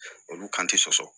Olu kan te sɔsɔ